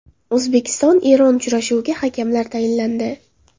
O‘zbekiston Eron uchrashuviga hakamlar tayinlandi.